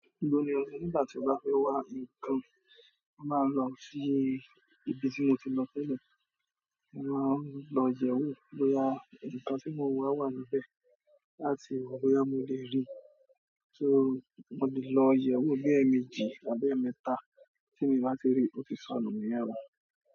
Ibo ni o si nígbà tí o bá fẹ́ wá ń kán? Mo máa lọ sí ibi tí mo ti lọ tẹ́lẹ̀, mo máa ń lọ yẹ̀ ẹ́ wò bóyá nǹkan tí mo n wà wà níbẹ̀ láti wò bóyá mo le rí i. So mo lè lọ yẹ̀wò bí ẹ́ẹ̀ẹ̀ méjì àbí ẹ́ẹ̀ẹ̀ mẹ́ta tí mi o bá ti rí i, ó ti sọnù níyẹn o.